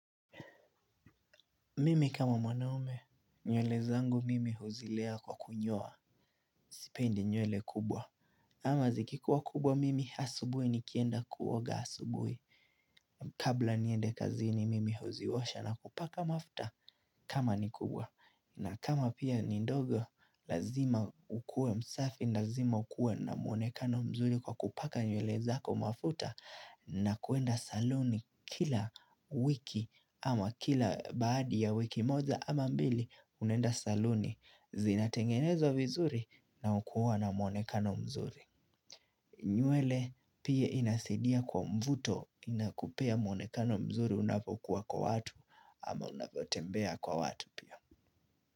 Mimi kama mwanaume, nywele zangu mimi huzilea kwa kunyoa, sipendi nyuwele kubwa. Ama zikikuwa kubwa mimi, asubuhi nikienda kuoga asubuhi. Kabla niende kazini mimi huziosha na kupaka mafuta kama ni kubwa. Na kama pia ni ndogo, lazima ukue msafi, lazima ukue na muonekano mzuri kwa kupaka nywele zako mafuta. Na kwenda saluni kila wiki ama kila baada ya wiki moja ama mbili unaenda saluni zinatengenezwa vizuri na hukuwa na mwonekano mzuri. Nywele pia inasidia kwa mvuto inakupea mwonekano mzuri unapokuwa kwa watu ama unapotembea kwa watu pia.